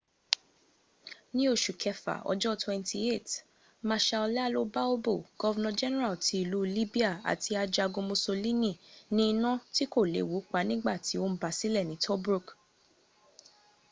ní oṣù kẹfà ọjọ́ 28 mashal ìalo balbo governor general ti ìlú libya àti ajogún mussolini ní inà tí kò léwu pa nígbàtí ó ń basílẹ̀ ní tobruk